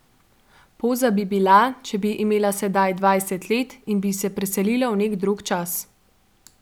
Poza bi bila, če bi imela sedaj dvajset let in bi se preselila v nek drug čas.